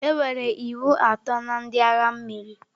Enwere iwu atọ na ndị agha mmiri.